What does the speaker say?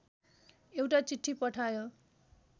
एउटा चिठी पठायो